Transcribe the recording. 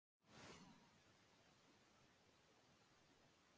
Við erum sjálfir búnir að hugsa út í hvernig síðasta undankeppni byrjaði.